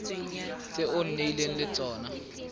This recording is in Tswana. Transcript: tse o nnileng le tsone